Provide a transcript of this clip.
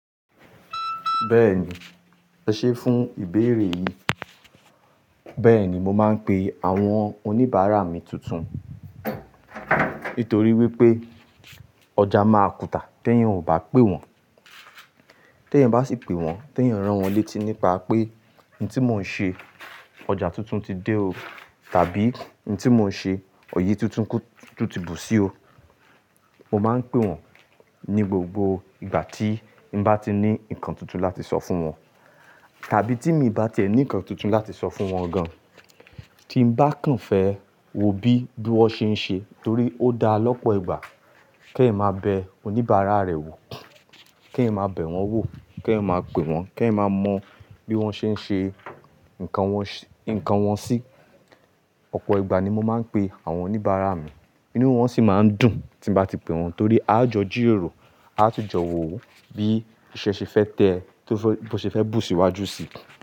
Bẹ́ẹ̀ni, e ṣé fún ìbéèrè yìí. Bẹ́ẹ̀ni, mo máa ń pe àwọn oníbàárà mi tuntun nítorí wípé ọjà máa kùtà tí ẹ̀yan ò bá pé wọ́n. Tí ẹ̀yan bá sì pé wọ́n, tí ẹ̀yan rán wọ́n létí nípa pé "Nì tí mò ń ṣe, ọjà tuntun ti dé o" tàbí "Nì tí mò ń ṣe, òye tuntun tí bù sí o." Mo máa ń pé wọ́n ní gbogbo ìgbà tí n bá ti ní ǹkan tuntun láti sọ fún wọn. Tàbí tí mi bá tiẹ̀ ní ǹkan tuntun láti sọ fún wọn gan, tí n bá kàn fẹ́ wo bí bí wọ́n ṣe ń ṣe torí ó da lọ́pọ̀ ìgbà kí ẹ̀yan máa bẹ oníbàárà rẹ wò, kí ẹ̀yan máa bẹ wọ́n wò, kí ẹ̀yan máa pé wọ́n, kí ẹ̀yan máa mọ bí wọ́n ṣe ń ṣe ǹkan wọn sí. Ọ̀pọ̀ ìgbà ni mo máa ń pe àwọn oníbàárà mi, inú wọn sì máa ń dùn tí n bá ti pé wọ́n torí a jọ jìròrò, a tú jọ wò bí iṣẹ́ ṣe fẹ́ tẹ, bí o ṣe fẹ́ bù síwájú sí.